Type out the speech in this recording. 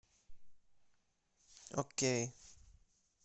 окей